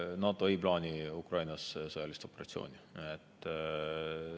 NATO ei plaani Ukrainas sõjalist operatsiooni.